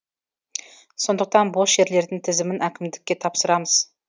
сондықтан бос жерлердің тізімін әкімдікке тапсырамыз